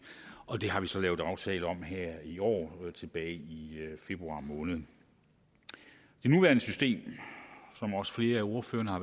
og det har vi så lavet en aftale om her i år tilbage i februar måned det nuværende system som også flere af ordførerne har